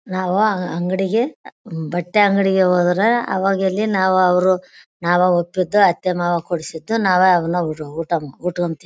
ನಾವ ಅಂಗಡಿಗೆ ಬಟ್ಟೆ ಅಂಗಡಿಗೆ ಹೋದ್ರೆ ಅವಾಗ ಇಲ್ಲಿ ನಾವ ಅವ್ರು ನಾವ ಒಪ್ಪಿದ್ದು ಅತ್ತೆ ಮಾವ ಕೊಡಿಸಿದ್ದು ನಾವೇ ಅವನ್ನ ಊಟ ಉಟ್ಕಂತಿವಿ.